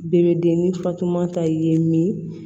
Bɛɛ bɛ den ni fatuma ta i ye min